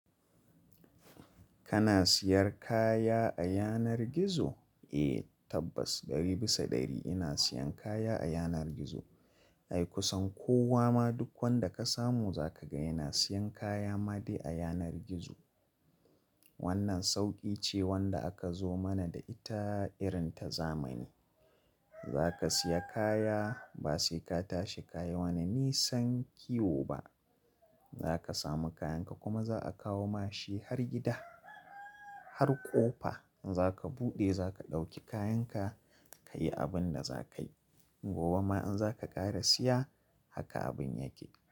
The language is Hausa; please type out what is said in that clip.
Kana siyar kaya a yanar gizo? Eh tabbas ɗari bisa ɗari ina siyan kaya a yanar gizo. Ai kusan kowa ma duk wanda ka samu zakaga yana siyan kayama dai a yanar gizo. Wannan sauƙi ce wanda aka zo mana da ita irin ta zamani. Zaka siya kaya basai ka tashi kayi wani nisan kiwo ba. Zaka samu kayanka kuma za'a kawoma shi har gida. Har ƙofa zaka buɗe zaka ɗauki kayanka kayi abinda zaka yi. Gobe ma in zaka ƙara siya haka abin yake.